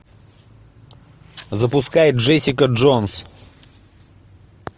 запускай джессика джонс